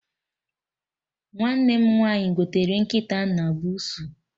Nwanne m nwaanyị gotere nkịta na buusu